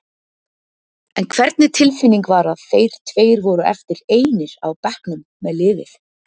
En hvernig tilfinning var að þeir tveir voru eftir einir á bekknum með liðið?